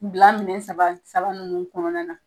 Bila minɛ saba saba ninnu kɔnɔna na.